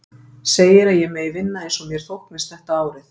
Segir að ég megi vinna eins og mér þóknist þetta árið.